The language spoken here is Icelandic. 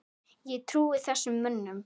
Ég trúði þessum mönnum.